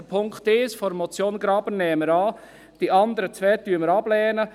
Den Punkt 1 der Motion Graber nehmen wir an, die anderen zwei Punkte lehnen wir ab.